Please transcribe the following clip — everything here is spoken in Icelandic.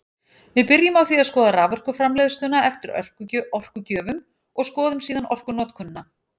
Við byrjum á því að skoða raforkuframleiðsluna eftir orkugjöfum og skoðum síðan orkunotkunina.